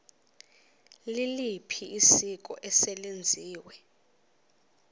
liliphi isiko eselenziwe